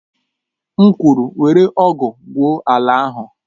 M kwuru, were ọ̀gu gwụo ala ahụ!